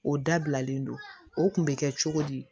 O dabilalen don o kun bɛ kɛ cogo di